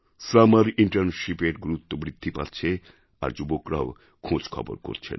summer Internshipএর গুরুত্ব বৃদ্ধি পাচ্ছে আর যুবকরাও খোঁজ খবর করছেন